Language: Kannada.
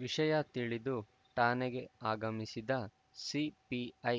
ವಿಷಯ ತಿಳಿದು ಠಾಣೆಗೆ ಆಗಮಿಸಿದ ಸಿಪಿಐ